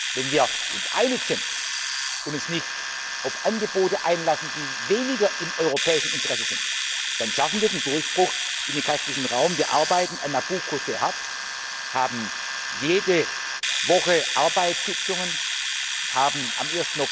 Wenn wir uns einig sind und uns nicht auf Angebote einlassen, die weniger im europäischen Interesse sind, dann schaffen wir den Durchbruch in den kaspischen Raum Wir arbeiten an Nabucco sehr hart, haben jede Woche Arbeitssitzungen, haben